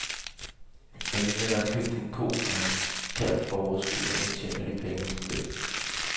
Familien har købt en ko og en kalv for overskuddet, og nu tjener de penge på mælken.